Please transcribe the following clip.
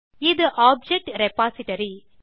இது object repository